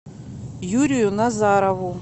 юрию назарову